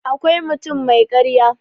akwai mutum mai karya